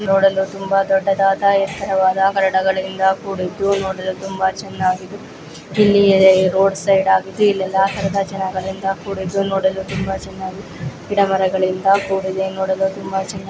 ನೋಡಲು ತುಂಬಾ ದೊಡ್ಡದಾದ ಎತ್ತರವಾದ ಕೂಡಿದ್ದು ನೋಡಲು ತುಂಬಾ ಚೆನ್ನಾಗಿ ಇಲ್ಲಿ ರೋಡ್ ಸೈಡ್ ಆಗಿದ್ದು ಇಲ್ಲೆಲ್ಲಾ ತರಹದ ಜನಗಳಿಂದ ಕೂಡಿದ್ದು ನೋಡಲು ತುಂಬಾ ಚೆನ್ನಾಗಿ ಗಿಡ ಮರಗಳಿಂದ ಕೂಡಿದೆ ನೋಡಲು ತುಂಬಾ ಚೆನ್ನಗಿ--